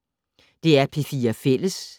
DR P4 Fælles